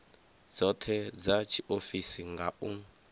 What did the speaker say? dzothe dza tshiofisi nga u